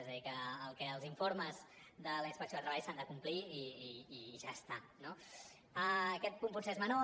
és a dir que els informes de la inspecció de treball s’han de complir i ja està no aquest punt potser és menor